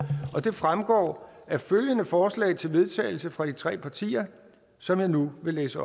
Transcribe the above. og det fremgår af følgende forslag til vedtagelse fra de tre partier som jeg nu vil læse